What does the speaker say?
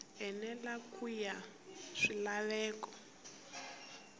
enela ku ya hi swilaveko